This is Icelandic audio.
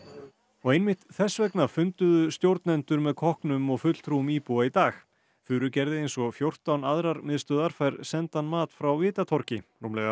og einmitt þess vegna funduðu stjórnendur með kokknum og fulltrúum íbúa í dag Furugerði eins og fjórtán aðrar miðstöðvar fær sendan mat frá Vitatorgi rúmlega